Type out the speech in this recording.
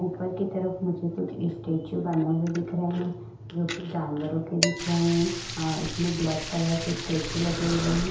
ऊपर के तरफ मुझे कुछ स्टेच्यु बने हुए दिख रहे हैं जोकि जानवरों के दिख रहे है अ इसमें ब्लैक कलर के स्टेच्यु लगे हुए हैं।